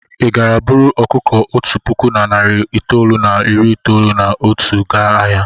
Ị gara buru ọkụkọ otu puku na narị itoolu na iri itoolu na otu gaa ahịa?